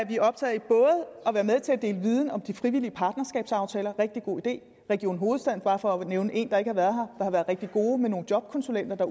vi optaget af at være med til at dele viden om de frivillige partnerskabsaftaler rigtig god idé region hovedstaden bare for at nævne en der ikke har været her har været rigtig god med nogle jobkonsulenter